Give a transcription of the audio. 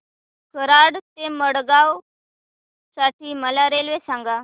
कराड ते मडगाव साठी मला रेल्वे सांगा